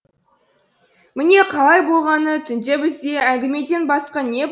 міне қалай болғаны түнде бізде әңгімеден басқа не